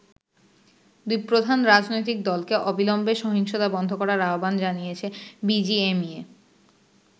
দুই প্রধান রাজনৈতিক দলকে অবিলম্বে সহিংসতা বন্ধ করার আহ্বান জানিয়েছে বিজিএমইএ।